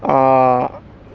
аа